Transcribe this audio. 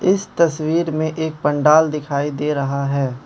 इस तस्वीर में एक पंडाल दिखाई दे रहा है।